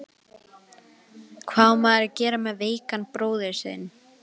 Hvað á maður að gera með veikan bróður sinn?